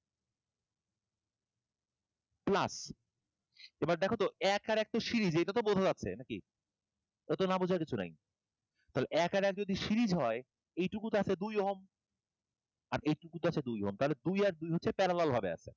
plus এবার দেখো তো এক আর এক তো series এটা তো বোঝা যাচ্ছে নাকি এটা তো না বোঝার কিছু নাই। তাহলে এক আর এক যদি series হয় এইটুকুতেই আছে দুই Ohm আর এইটুকুতেই আছে দুই Ohm, তাহলে দুই আর দুই হচ্ছে parallel ভাবে আছে।